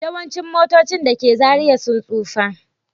Yawancin motocin da ke Zariya sun tsufa